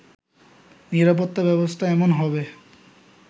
নিরাপত্তা ব্যবস্থা এমন হবে